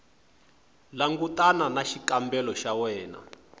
langutana na xikombelo xa wena